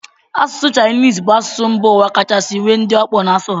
Asụsụ Chinese bụ asụsụ mba ụwa kachasị nwee ndị ọkpụ na-asụ ya